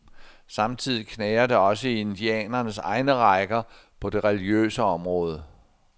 Samtidig knager det også i indianernes egne rækker, på det religiøse område.